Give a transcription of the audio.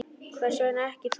Hvers vegna ekki þú?